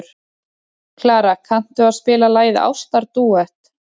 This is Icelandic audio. Klara, kanntu að spila lagið „Ástardúett“?